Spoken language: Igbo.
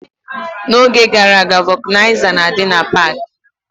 N'oge gara aga, vokanaiza na-adị na pak.